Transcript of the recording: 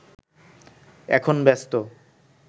এখন ব্যস্ত